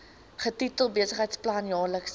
getitel besigheidsplan jaarlikse